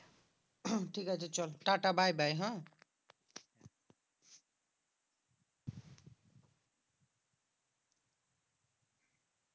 ঠিক আছে চল টাটা bye bye হ্যাঁ?